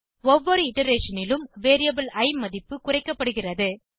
ஒவ்வொரு இட்டரேஷன் னிலும் வேரியபிள் இ மதிப்பு குறைக்கப்படுகிறது